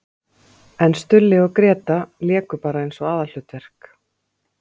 En Stulli og Gréta léku bara eins og aðalhlutverk!